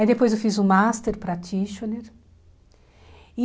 Aí depois eu fiz o master practitioner e